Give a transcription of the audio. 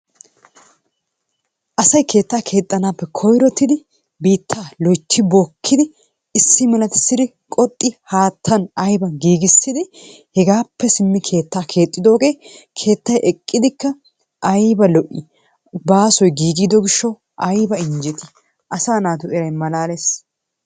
Asay keettaa keexxanaappe koyrottidi biittaa loytti bookkidi issi malatissi qoxxidi haattaa aybaa giigissidi hegaappe simmi keettaa keexxidoogee keettay eqqidikka ayba lo'ii? Baasoy giigidi gishshawu ayba injjetii? Asaa naatu eray malaalees.